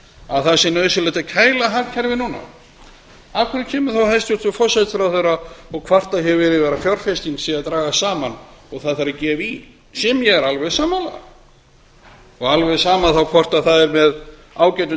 að það sé nauðsynlegt að kæla hagkerfið núna af hverju kemur þá hæstvirtur forsætisráðherra og kvartar yfir að fjárfesting sé að dragast saman og það þurfi að gefa í því er ég alveg sammála þá er alveg sama hvort það er með ágætum